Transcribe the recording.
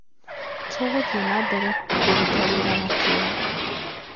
"Tũgũthiĩ na mbere kũrũta wĩra na kĩo."